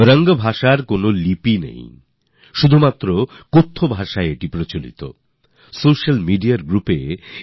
এই ভাষার কোনও লিপি নেই শুধু কথা বলার মধ্যেই এক রকমভাবে এর চলন